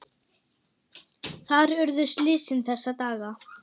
Þar urðu slysin þessa daga.